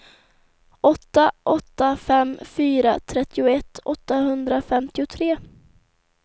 åtta åtta fem fyra trettioett åttahundrafemtiotre